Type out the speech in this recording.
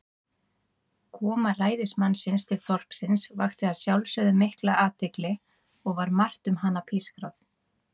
Koma ræðismannsins til þorpsins vakti að sjálfsögðu mikla athygli, og var margt um hana pískrað.